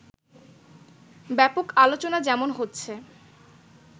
ব্যাপক আলোচনা যেমন হচ্ছে